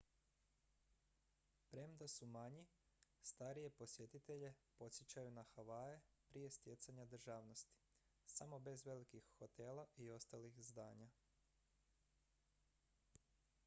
premda su manji starije posjetitelje podsjećaju na havaje prije stjecanja državnosti samo bez velikih hotela i ostalih zdanja